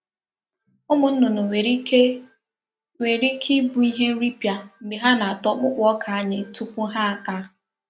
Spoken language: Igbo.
Umu nnunu nwere ike nwere ike ibu ihe nripia mgbe ha na-ata okpoko oka anyi tupu.ha aka.